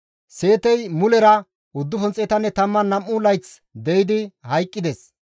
Seetey mulera 912 layth de7idi hayqqides.